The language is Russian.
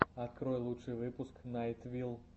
открой лучший выпуск найт вилл